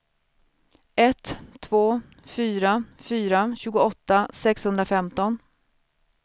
ett två fyra fyra tjugoåtta sexhundrafemton